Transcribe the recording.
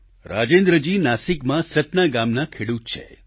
રાજેન્દ્રજી નાસિકમાં સતના ગામનાં ખેડૂત છે